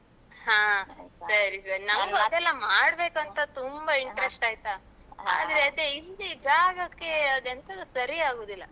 ಹಾ ಸರಿ ಸರಿ ಮಾಡ್ಬೇಕಂತ ತುಂಬ interest ಆಯ್ತಾ? ಆದರೆ ಅದೇ ಹಿಂದೆ ಜಾಗಕ್ಕೆ ಅದೆಂತದೋ ಸರಿ ಆಗುದಿಲ್ಲ.